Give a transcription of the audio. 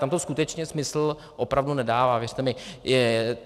Tam to skutečně smysl opravdu nedává, věřte mi.